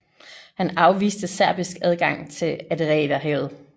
Han afviste serbisk adgang til Adriaterhavet